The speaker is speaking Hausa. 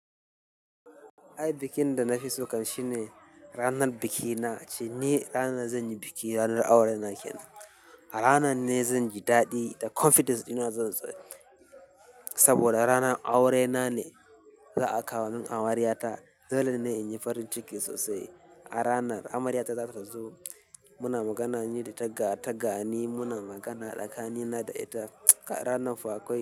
Ai bikin da na fi so kan shine ranar bikina, ace ni ranar zan yi biki ranar aurena kenan. Ranar ne zan ji daɗi da confidence ina zan zo saboda ranar aurena ne za a kawomin amaryata. Dole ne in yi farin ciki sosai a ranar. Amaryata za ta zo, muna magana ni da ita ga ta gani, muna magana tsakani na da ita. Ranar fa aƙwai.